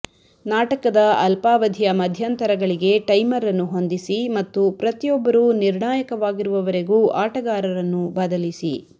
ನಾಟಕದ ಅಲ್ಪಾವಧಿಯ ಮಧ್ಯಂತರಗಳಿಗೆ ಟೈಮರ್ ಅನ್ನು ಹೊಂದಿಸಿ ಮತ್ತು ಪ್ರತಿಯೊಬ್ಬರೂ ನಿರ್ಣಾಯಕವಾಗಿರುವವರೆಗೂ ಆಟಗಾರರನ್ನು ಬದಲಿಸಿ